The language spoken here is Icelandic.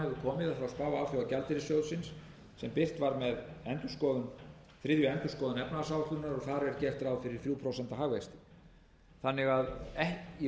spá alþjóðagjaldeyrissjóðsins sem birt var með þriðju endurskoðun efnahagsáætlunar og þar er gert ráð fyrir þriggja prósenta hagvexti í